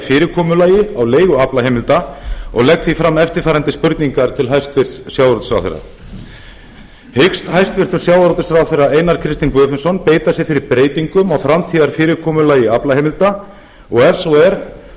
fyrirkomulagi á leigu aflaheimilda og legg því fram eftirfarandi spurningar til hæstvirts sjávarútvegsráðherra hyggst hæstvirtur sjávarútvegsráðherra einar kristinn guðfinnsson beita sér fyrir breytingum á framtíðarfyrirkomulagi aflaheimilda ef svo er